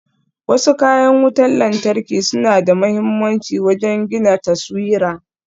Wasu kayan wutan lantarki suna da mahimmanci wajen gina taswira.